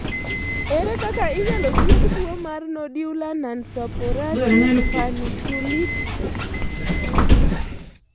Ere kaka inyalo thiedh tuwo mar nodular nonsuppurative panniculitis?